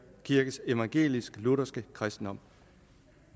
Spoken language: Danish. evangelisk lutherske kristendom